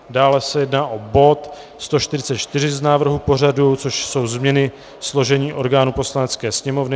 Dále se jedná o bod 144 z návrhu pořadu, což jsou změny složení orgánů Poslanecké sněmovny.